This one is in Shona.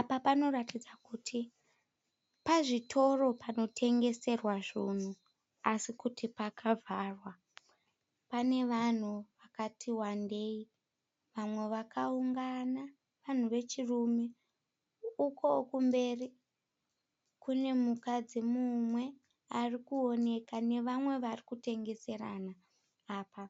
Apa panoratidza kuti pazvitoro panotengeserwa zvinhu asi kuti pakavharwa. Pane vanhu vakati wandei , vamwe vakaungana vanhu vechirume, uko kumberi kune mukadzi mumwe arikuoneka nevamwe varikutengeserana. Apa